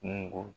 Kungo